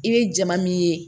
I bɛ jama min ye